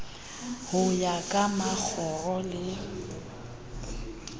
ho ya ka makgoro le